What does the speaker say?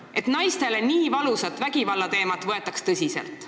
Et naistele nii valusat vägivalla teemat võetaks tõsiselt.